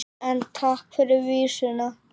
En takk fyrir vísuna!